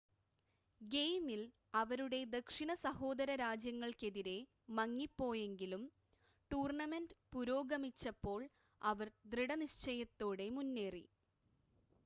ഗെയിമിൽ അവരുടെ ദക്ഷിണ സഹോദര രാജ്യങ്ങൾക്കെതിരെ മങ്ങിപ്പോയെങ്കിലും ടൂർണ്ണമെൻ്റ് പുരോഗമിച്ചപ്പോൾ അവർ ദൃഢനിശ്ചയത്തോടെ മുന്നേറി